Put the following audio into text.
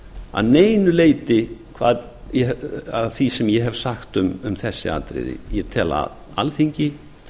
að neinu leyti af því sem ég hef sagt um þessi atriði ég tel að alþingi